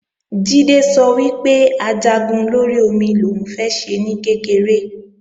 Jídé sọ wípé Ajagun lórí omi lòún fẹ́ ṣe ní kékeré